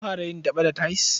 An fara yin daɓe da tayils.